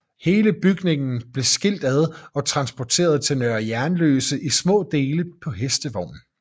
Hele bygningen blev skilt ad og transporteret til Nørre Jernløse i små dele på hestevogn